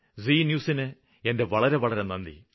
G news ന് എന്റെ വളരെ വളരെ നന്ദി